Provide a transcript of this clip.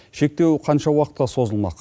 шектеу қанша уақытқа созылмақ